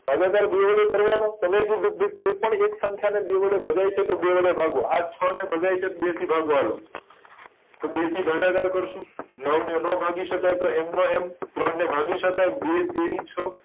ભાગાકાર બે વડે કરવા ના શું કીધું કે કોઈ પણ એક સંખ્યા ને બે વડે ભગાય શકાય તો બે વડે ભાગો હા છ ને ભાગ્ય છે તો બે થી ભાગવા નું તો બે થી ભાગાકાર કરશું નવ ને નાં ભાગી શકાય તો એમ નાં એમ ત્રણ ને ભાગી શકાય બે તેરી છ